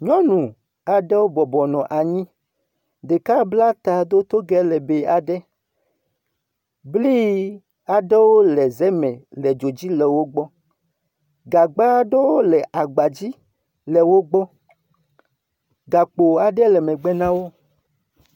Nyɔnu aɖewo bɔbɔ nɔ anyi, ɖeka bla ta, do togɛ lebii aɖe. Bli aɖe le ze me le dzo dzi le wogbɔ. Gagba aɖewo le aba dzi le wogbɔ. Gakpo aɖe le megbe nawo.